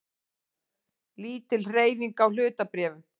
Lítil hreyfing á hlutabréfum